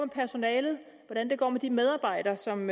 personalet hvordan det går med de medarbejdere som